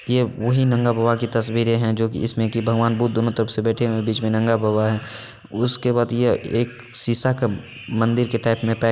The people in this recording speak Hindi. ये वही नंगा बाबा की तस्वीरें है जो की इसमें भगवान बुद्ध दोनों तरफ से बैठे हुए हैं बीच में नंगा बाबा है| उसके बाद यह एक सीसा का मंदिर के टाइप में--